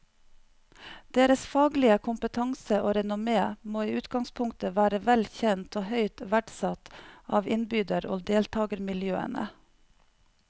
Deres faglige kompetanse og renommé må i utgangspunktet være vel kjent og høyt verdsatt av innbyder og deltagermiljøene.